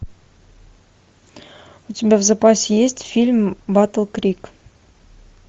у тебя в запасе есть фильм батл крик